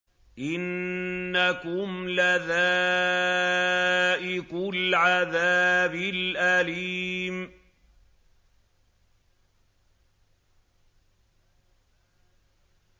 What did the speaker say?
إِنَّكُمْ لَذَائِقُو الْعَذَابِ الْأَلِيمِ